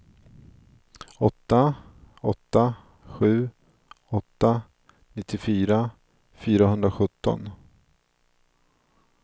åtta åtta sju åtta nittiofyra fyrahundrasjutton